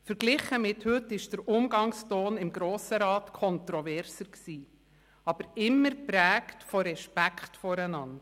Verglichen mit heute war der Umgangston im Grossen Rat kontroverser, aber immer geprägt von Respekt voreinander.